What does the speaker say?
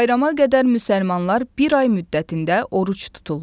Bayrama qədər müsəlmanlar bir ay müddətində oruc tuturlar.